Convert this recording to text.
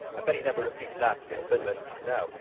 I bet he never repeats that in Finland now.